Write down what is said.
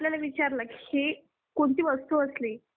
की आपल्याला विचारलं की कोणती वस्तू असली